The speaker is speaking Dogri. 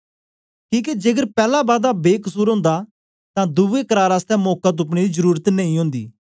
किके जेकर पैला बादा बेकसुर ओंदा तां दुवे करार आसतै मौका तुप्पनें दी जरुरत नेई ओंदी